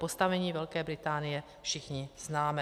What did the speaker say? Postavení Velké Británie všichni známe.